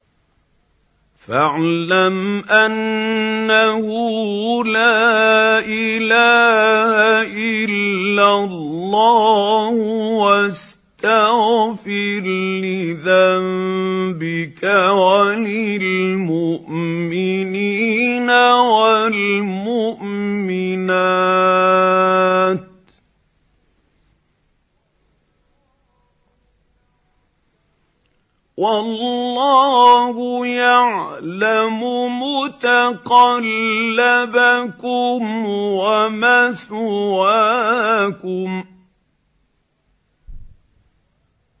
فَاعْلَمْ أَنَّهُ لَا إِلَٰهَ إِلَّا اللَّهُ وَاسْتَغْفِرْ لِذَنبِكَ وَلِلْمُؤْمِنِينَ وَالْمُؤْمِنَاتِ ۗ وَاللَّهُ يَعْلَمُ مُتَقَلَّبَكُمْ وَمَثْوَاكُمْ